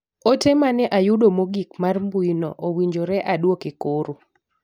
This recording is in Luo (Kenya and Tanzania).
Ote mane ayudo mogik mar rmbui no owinjore aduoke koro.